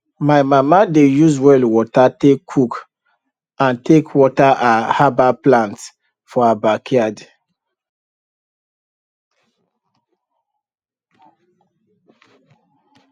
my mama dey use well water take cook and take water her herbal plants for her backyard